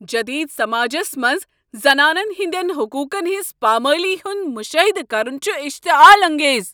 جدید سماجس منٛز زنانن ہٕنٛدٮ۪ن حقوقن ہٕنز پامٲلی ہُند مشاہدٕ کرُن چُھ اشتعال انگیز۔